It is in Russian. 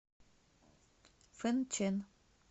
фэнчэн